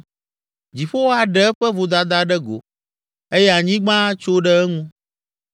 Dziƒo aɖe eƒe vodada ɖe go eye anyigba atso ɖe eŋu.